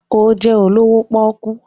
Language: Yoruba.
Ó jẹ́ olówó pọ́ọ́kú.